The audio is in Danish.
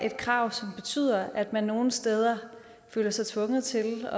et krav som betyder at man nogle steder føler sig tvunget til